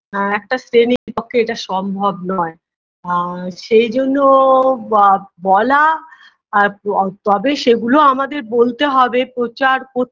আ একটা শ্রেনীর পক্ষে এটা সম্ভব নয় আ সেইজন্য বা বলা আ প তবে সেগুলো আমাদের বলতে হবে প্রচার কর